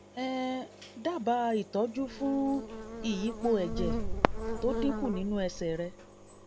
um dábàá ìtọ́jú fún ìyípo ẹ̀jẹ̀ tó dínkù nínú ẹsẹ̀ rẹ